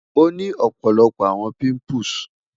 o ni ọpọlọpọ awọn pimples